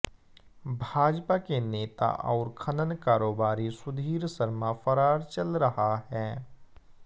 भाजपा के नेता और खनन कारोबारी सुधीर शर्मा फरार चल रहा है